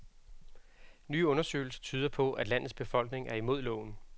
Nye undersøgelser tyder på, at landets befolkning er imod loven.